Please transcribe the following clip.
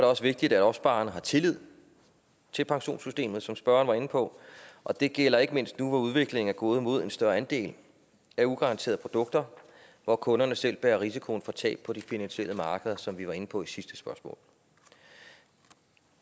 også vigtigt at opsparerne har tillid til pensionssystemet som spørgeren var inde på og det gælder ikke mindst nu hvor udviklingen er gået mod en større andel af ugaranterede produkter hvor kunderne selv bærer risikoen for tab på de finansielle markeder som vi var inde på i sidste spørgsmål